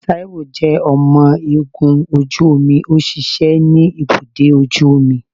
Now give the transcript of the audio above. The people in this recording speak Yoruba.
Taiwo jẹ ọmọ ogun oju omi, o ṣiṣẹ ni ibudọ ojú omí.